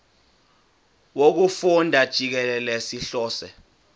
wokufunda jikelele sihlose